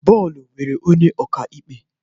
Bọọlụ nwere onye ọka ikpe